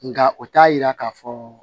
Nka o t'a yira k'a fɔ